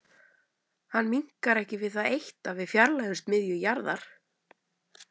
Hann minnkar ekki við það eitt að við fjarlægjumst miðju jarðar.